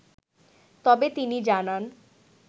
তবে তিনি জানান